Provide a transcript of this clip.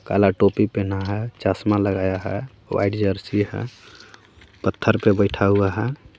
काला टोपी पहना हे चश्मा लगाया हे वाइट जरसी हे पत्थर पे बैठा हुआ हे.